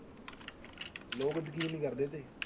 ਲੋਕ ਯਕੀਨ ਨੀ ਕਰਦੇ ਇਹਤੇ।